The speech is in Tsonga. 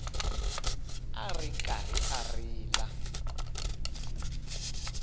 a ri karhi a rila